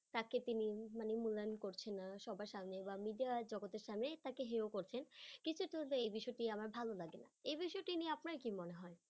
তাকে তিনি মানে মূল্যায়ন করছেন না সবার সামনে বা media জগতের সামনে তাকে হেয় করছেন এই বিষয়টি আমার ভালো লাগেনা, এ বিষয়টি নিয়ে আপনার কি মনে হয়?